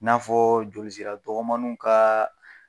N'a fɔ joli sira dɔgɔmanninw ka